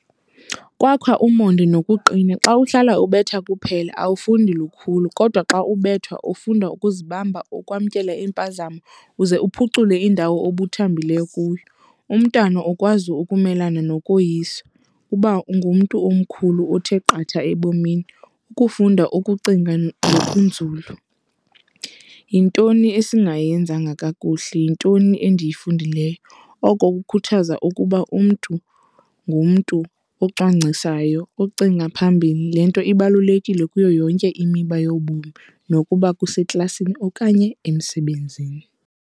Kwakha umonde nokuqina. Xa uhlala ubetha kuphela awufundi lukhulu kodwa xa ubethwa ufunda ukuzibamba, ukwamkela iimpazamo uze uphucule indawo obuthambileyo kuyo. Umntana ukwazi ukumelana nokoyiswa, uba ungumntu omkhulu othe qatha ebomini ukufunda ukucinga nokunzulu. Yintoni esingayenzanga kakuhle? Yintoni endiyifundileyo? Oko kukhuthaza ukuba umntu ngumntu ocwangcisayo, ocinga phambili. Le nto ibalulekile kuyo yonke imiba yobomi nokuba kuseklasini okanye emsebenzini.